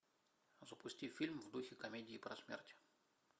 запусти фильм в духе комедии про смерть